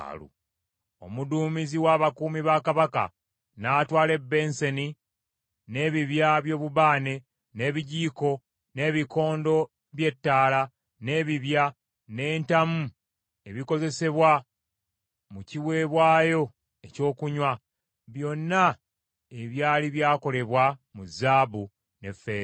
Omuduumizi w’abakuumi ba kabaka n’atwala ebensani n’ebibya by’obubaane, n’ebijiiko, n’ebikondo bye ttaala, n’ebibya, n’entamu ebikozesebwa mu kiweebwayo ekyokunywa, byonna ebyali byakolebwa mu zaabu ne ffeeza.